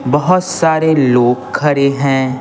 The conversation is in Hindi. बहुत सारे लोग खड़े हैं।